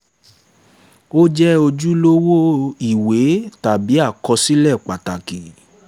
ó jẹ́ ojúlówó ìwé tàbí àkọsílẹ̀ pàtàkì